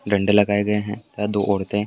डंडे लगाए गए है तथा दो औरते --